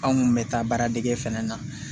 Anw kun bɛ taa baaradege fɛnɛ na